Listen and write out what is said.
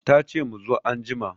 Tace mu zo anjima